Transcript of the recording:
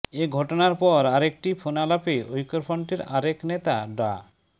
এ ঘটনার পর আরেকটি ফোনালাপে ঐক্যফ্রন্টের আরেক নেতা ডা